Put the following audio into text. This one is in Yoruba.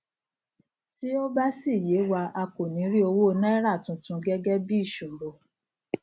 tí ó bá sì yé wa a kò ní rí owó náírà tuntun gẹgẹ bíi ìṣòro